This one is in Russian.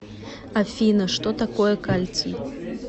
афина что такое кальций